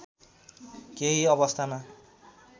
केही अवस्थामा